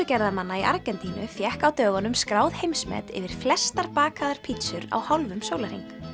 pítsugerðarmanna í Argentínu fékk á dögunum skráð heimsmet yfir flestar bakaðar pítsur á hálfum sólarhring